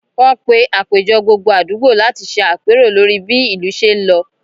Wọ́n pé àpéjọ gbogbo àdúgbò láti ṣe apero lórí bí ìlú ṣé ń lọ